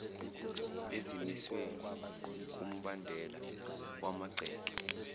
ezimiswe kumbandela wamagceke